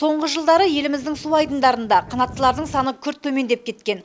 соңғы жылдары еліміздің су айдындарында қанаттылардың саны күрт төмендеп кеткен